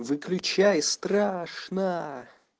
выключай страшно